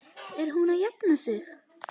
Er hún að jafna sig?